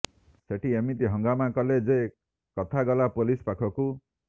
ସେଠି ଏମିତି ହଙ୍ଗାମା କଲେ ଯେ କଥା ଗଲା ପୋଲିସ୍ ପାଖକୁ